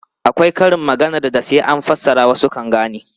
Akwai karin maganar da sai an fassara wasu kan gane.